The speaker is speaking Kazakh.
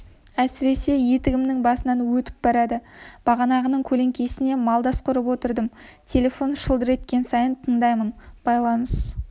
әсіресе етігімнің басынан өтіп барады бағананың көлеңкесіне малдас құрып отырдым телефон шылдыр еткен сайын тындаймын байланыс